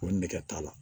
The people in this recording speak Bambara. Ko nɛgɛ t'a la